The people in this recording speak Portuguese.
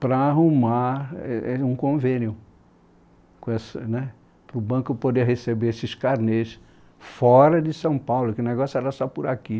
para arrumar é é um convênio para essa né, para o banco poder receber esses carnês fora de São Paulo, que o negócio era só por aqui.